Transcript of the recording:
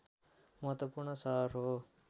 महत्वपूर्ण सहर हो